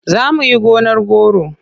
Za mu yi gonar goro.